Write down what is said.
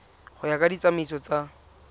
go ya ka ditsamaiso tsa